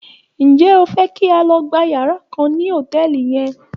Ǹjẹ́ o fẹ́ kí a lọ gba yàrá kan ní hòtẹ́ẹ̀lì yẹn?